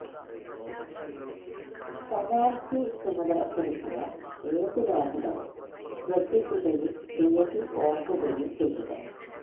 penalty ചുമതലപ്പെടുത്തിയ ഏതു ലേഖനവും ശ്രദ്ധിക്കുകയും തീയതി ഓർക്കുകയും ചെയ്യുക